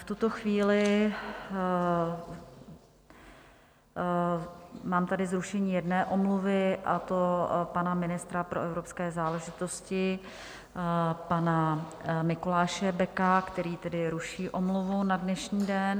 V tuto chvíli mám tady zrušení jedné omluvy, a to pana ministra pro evropské záležitosti, pana Mikuláše Beka, který tedy ruší omluvu na dnešní den.